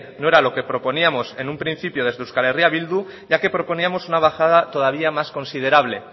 no era lo que proponíamos en un principio desde euskal herria bildu ya que proponíamos una bajada todavía más considerable